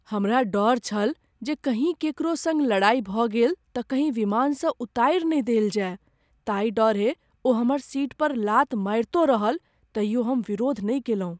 हमरा डर छल जे कहीँ केकरो सङ्ग लड़ाइ भऽ गेल तँ कहीं विमानसँ उतारि ने देल जाय, ताहि डरें ओ हमर सीट पर लात मारितो रहल तैयो हम विरोध नहि कएलहुँ।